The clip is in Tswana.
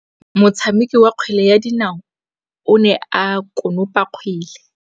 Motshameki wa kgwele ya dinaô o ne a konopa kgwele.